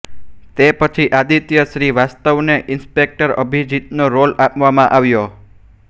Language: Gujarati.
તે પછી આદિત્ય શ્રીવાસ્તવને ઇન્સપેક્ટર અભિજીતનો રોલ આપવામાં આવ્યો